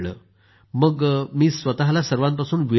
मग मी स्वतःला सर्वांपासून विलग केलं